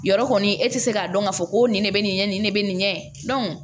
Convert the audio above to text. Yɔrɔ kɔni e tɛ se k'a dɔn k'a fɔ ko nin ne bɛ nin kɛ nin ne bɛ nin kɛ